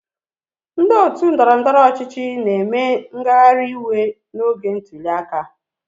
Ndị otu ndọrọndọrọ ọchịchị na-eme ngagharịiwe n'oge ntuli aka.